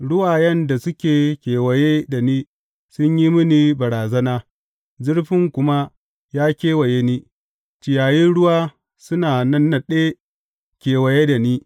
Ruwayen da suke kewaye da ni sun yi mini barazana, zurfi kuma ya kewaye ni, ciyayin ruwa suna nannaɗe kewaye da ni.